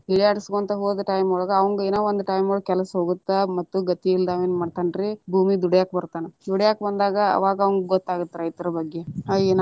ಹೀಯಾಳಿಸಕೊಂತ ಹೋದ time ಒಳಗ ಅವಂಗ ಏನೊ ಒಂದ ಕೆಲ್ಸಾ ಹೋಗುತ್ತ, ಮತ್ತ ಗತಿ ಇಲ್ಲದ ಏನ ಮಾಡ್ತಾನರಿ ಭೂಮಿಗ ದುಡ್ಯಾಕ ಬರ್ತಾನ ದುಡ್ಯಾಕ್ ಬಂದಾಗ ಅವಾಗ ಅವಂಗ ಗೊತ್ತ ಆಗತ್ತ ರೈತರ ಬಗ್ಗೆ ಅಯ್ಯ ನಾನ.